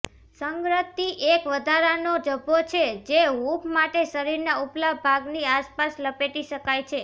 સંગત્રી એક વધારાનો ઝભ્ભો છે જે હૂંફ માટે શરીરના ઉપલા ભાગની આસપાસ લપેટી શકાય છે